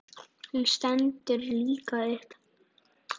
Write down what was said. Hún stendur líka upp.